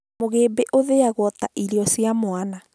Mũgĩmbĩ ũthĩagwo ta irio cia mwana